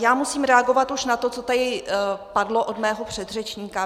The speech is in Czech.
Já musím reagovat už na to, co tady padlo od mého předřečníka.